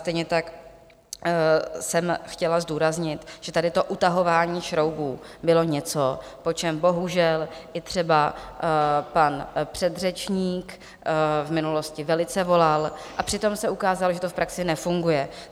Stejně tak jsem chtěla zdůraznit, že tady to utahování šroubů bylo něco, po čem bohužel i třeba pan předřečník v minulosti velice volal, a přitom se ukázalo, že to v praxi nefunguje.